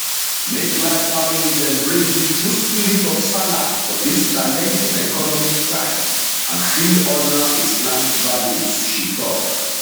make large families embrace di true spirit of sallah for dis challenging economic times and still honour islamic values she tok